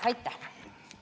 Aitäh!